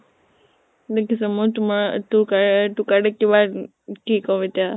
দেখিছ মই তোমাৰ তোৰ তোৰ কাৰণে কিমান , কি কওঁ এতিয়া ?